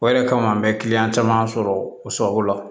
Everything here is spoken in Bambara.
O yɛrɛ kama an bɛ kiliyan caman sɔrɔ o sababu la